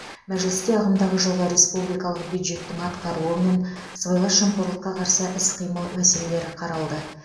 мәжілісте ағымдағы жылғы республикалық бюджеттің атқарылуы мен сыбайлас жемқорлыққа қарсы іс қимыл мәселелері қаралды